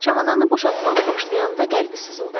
Çamadanı boşaltmağa başlayanda qəlbi sızıldadı.